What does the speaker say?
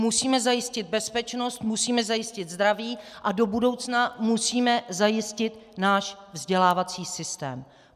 Musíme zajistit bezpečnost, musíme zajistit zdraví a do budoucna musíme zajistit náš vzdělávací systém.